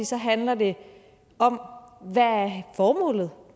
så handler det om hvad formålet